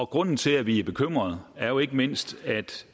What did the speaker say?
grunden til at vi er bekymrede er jo ikke mindst at